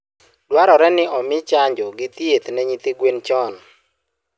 Dwarore ni omi chanjo gi thieth ne nyithii winy chon.